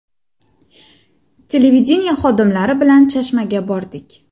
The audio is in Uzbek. Televideniye xodimlari bilan Chashmaga bordik.